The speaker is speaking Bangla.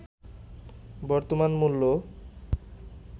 বর্তমান মূল্য